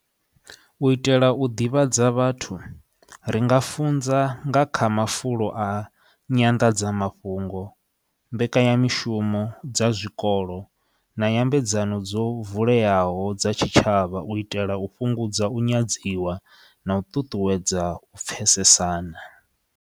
U itela u ḓivhadza vhathu ri nga funza nga kha mafulo a nyanḓadzamafhungo, mbekanyamishumo dza zwikolo na nyambedzano dzo vuleyaho dza tshitshavha u itela u fhungudza u nyadziwa na u ṱuṱuwedza u pfesesana.